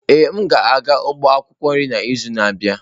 Ee, m ga-aga ugbo akwukwo nri n'izu na-abịa.